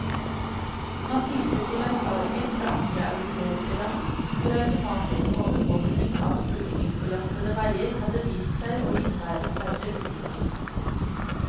Man viste til erfaringer fra andre europeiske land, hvor automatisk overvåkning av ulykkesbelastede veier hadde vist seg å innebære færre ulykker.